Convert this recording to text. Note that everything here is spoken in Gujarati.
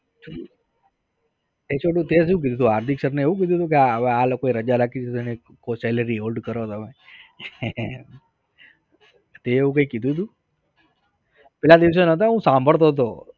એ છોટું તે શું કીધું તું? હાર્દિક sir ને એવું કીધું તું કે આ લોકો રજા રાખી દેશે ને salary hold કરો તમે? તે એવું કઈ કીધું તું? પેલા દિવસે નતો હું સાંભડતો તો